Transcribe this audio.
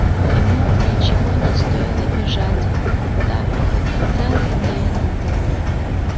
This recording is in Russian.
ему ничего не стоило бежать так хоть целый день